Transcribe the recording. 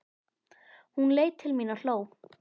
Hún leit til mín og hló.